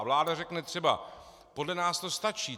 A vláda řekne třeba - podle nás to stačí.